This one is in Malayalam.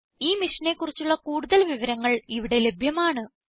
ഈ മിഷനെ കുറിച്ചുള്ള കൂടുതൽ വിവരങ്ങൾ ഇവിടെ ലഭ്യമാണ്